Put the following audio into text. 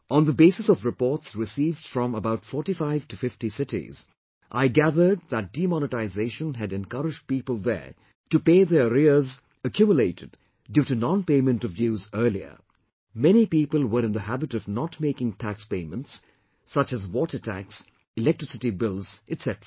On the basis of reports received from about 4550 cities, I gathered that demonetisation had encouraged people there to pay their arrears accumulated due to nonpayment of dues earlier; many people were in the habit of not making tax payments such as water tax, electricity bills, etc